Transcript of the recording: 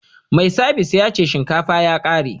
Mai sabis ya ce shinkafa ya kare